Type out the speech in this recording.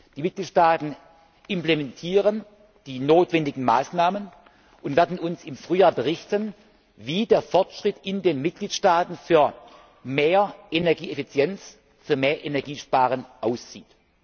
Die Mitgliedstaaten implementieren die notwendigen Maßnahmen und werden uns im Frühjahr berichten, wie der Fortschritt in den Mitgliedstaaten für mehr Energieeffizienz, für mehr Energiesparen aussieht.